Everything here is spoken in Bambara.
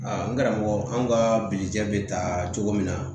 n karamɔgɔ an ka bilija bɛ taa cogo min na